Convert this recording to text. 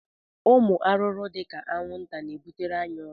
Ụmụ arụrụ dị ka anwụnta na-ebutere anyị ọrịa